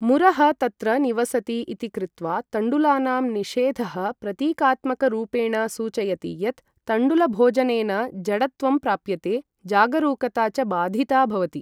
मुरः तत्र निवसति इति कृत्वा तण्डुलानां निषेधः प्रतीकात्मकरूपेण सूचयति यत् तण्डुलभोजनेन जडत्वं प्राप्यते, जागरूकता च बाधिता भवति।